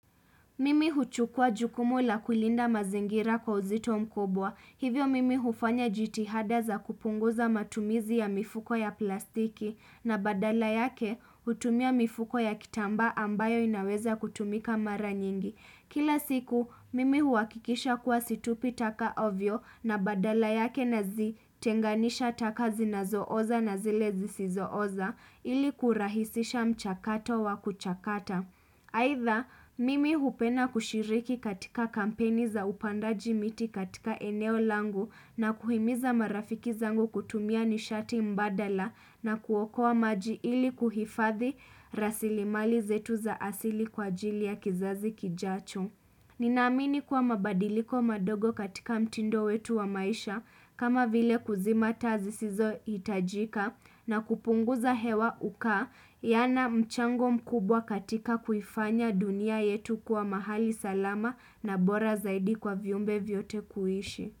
Mimi huchukua jukumu la kulinda mazingira kwa uzito mkubwa hivyo mimi hufanya jitihada za kupunguza matumizi ya mifuko ya plastiki na badala yake hutumia mifuko ya kitamba ambayo inaweza kutumika mara nyingi kila siku mimi huakikisha kuwa situpi taka hovyo na badala yake nazitenganisha taka zinazooza na zile zisizooza ili kurahisisha mchakato wa kuchakata aidha mimi hupenda kushiriki katika kampeni za upandaji miti katika eneo langu na kuhimiza marafiki zangu kutumia nishati mbadala na kuokoa maji ili kuhifadhi rasilimali zetu za asili kwa jili ya kizazi kijacho ninaamini kuwa mabadiliko madogo katika mtindo wetu wa maisha kama vile kuzima taa zisizohitajika na kupunguza hewa ukaa yana mchango mkubwa katika kuifanya dunia yetu kuwa mahali salama na bora zaidi kwa viumbe vyote kuishi.